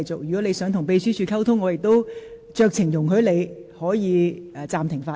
如果你想與秘書處人員溝通，我亦會酌情容許你暫停發言。